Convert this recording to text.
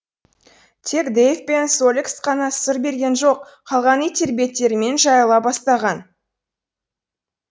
тек дэйв пен соллекс қана сыр берген жоқ қалған иттер беттерімен жайыла бастаған